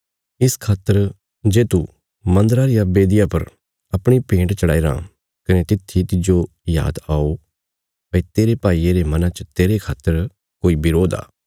इस खातर जे तू मन्दरा रिया बेदिया पर अपणी भेंट चढ़ाईराँ कने तित्थी तिज्जो याद आओ भई तेरे भाईये रे मना च तेरे खातर कोई बरोध आ